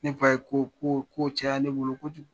Ne fa ye ko ko ko caya ne bolo kojugu!